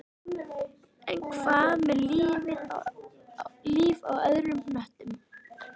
En hvað með líf á öðrum hnöttum?